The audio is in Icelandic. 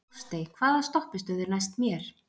Ástey, hvaða stoppistöð er næst mér?